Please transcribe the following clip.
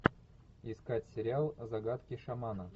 искать сериал загадки шамана